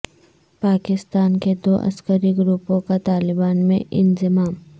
پاکستان کے دو عسکری گروپوں کا طالبان میں انضمام